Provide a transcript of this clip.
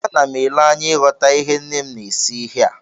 Ana m ele anya ịghọta ihe nne m na-esi ihe a